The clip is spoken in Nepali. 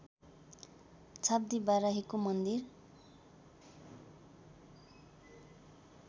छाब्दी बाराहीको मन्दिर